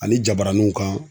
Ani jabaranuw kan